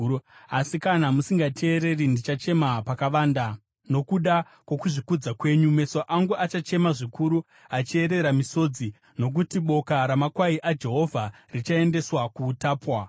Asi kana musingateereri, ndichachema pakavanda nokuda kwokuzvikudza kwenyu; Meso angu achachema zvikuru, achiyerera misodzi, nokuti boka ramakwai aJehovha richaendeswa kuutapwa.